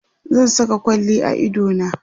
zan Saka kwalli a idona